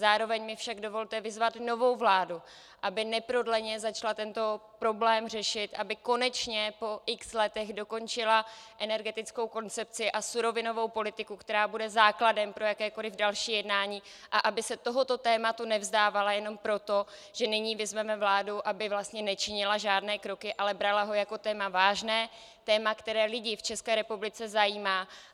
Zároveň mi však dovolte vyzvat novou vládu, aby neprodleně začala tento problém řešit, aby konečně po x letech dokončila energetickou koncepci a surovinou politiku, která bude základem pro jakékoliv další jednání, a aby se tohoto tématu nevzdávala jenom proto, že nyní vyzveme vládu, aby vlastně nečinila žádné kroky, ale brala ho jako téma vážné, téma, které lidi v České republice zajímá.